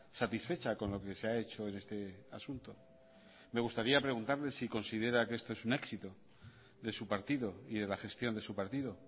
satisfecha con lo que se ha hecho en este asunto me gustaría preguntarle si considera que esto es un éxito de su partido y de la gestión de su partido